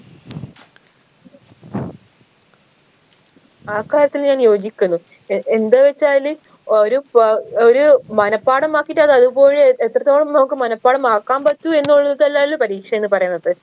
ആ കാര്യത്തിൽ ഞാൻ യോജിക്കുന്നു എഎന്താ വെച്ചാല് ഒരു ക ഒരു മനഃപാഠം ആക്കീറ്റ് അത് അതുപോലെ എഎത്രത്തോളം നമുക്ക് മനഃപാഠം ആക്കാൻ പറ്റൂ എന്നുള്ളതല്ലല്ലോ പരീക്ഷ എന്ന് പറയുന്നത്